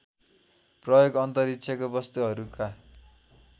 प्रयोग अन्तरिक्षको वस्तुहरूका